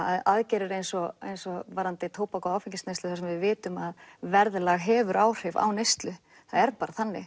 að aðgerðir eins og eins og varðandi tóbak og áfengisneyslu þar sem við vitum að verðlag hefur áhrif á neyslu það er bara þannig